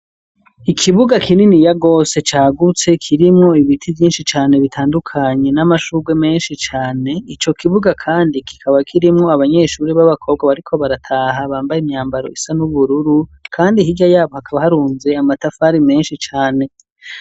Ikibuga kinini yarose cagutse kirimwo ibiti vyinshi cane bitandukanye n'amashurwe menshi cane ico kibuga, kandi kikaba kirimwo abanyeshuri b'abakobwa bariko barataha bambaye imyambaro isa n'ubururu, kandi hirya yabo hakaba harunze amatafari menshi cane.